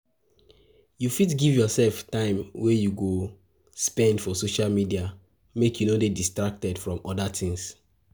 You fit give yourself time wey you go you go spend for social medial make you no de distracted from other things